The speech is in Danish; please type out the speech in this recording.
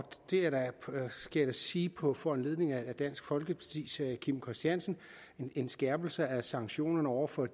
det skal jeg sige på foranledning af dansk folkepartis herre kim christiansen en skærpelse af sanktionerne over for